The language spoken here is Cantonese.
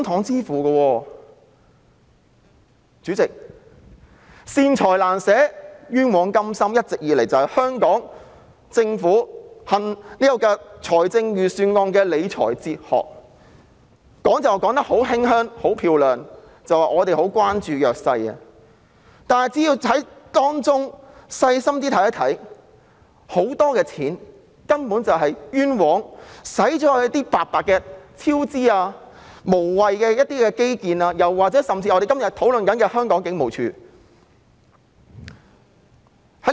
主席，"善財難捨，冤枉甘心"一直以來都是香港政府制訂預算案時的理財哲學，他們說得很漂亮，表示很關注弱勢社群，但其實只要細心看看，便會發現很多錢都是冤枉地用於超支、無謂的基建，甚至是我們今天討論的警務處身上。